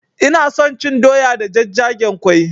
Ina son cin doya da jajjagen ƙwai